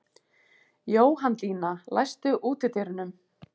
Jóhanndína, læstu útidyrunum.